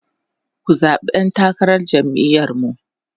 ku zaɓi ɗan takarar jam'iyar mu!